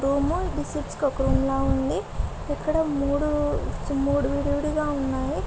Room . ఇది లాగా ఉంది.ఇక్కడ మూడు మూడు విడి విడిగా ఉన్నాయి.